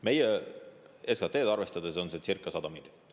Meie SKT-d arvestades on see circa 100 miljonit.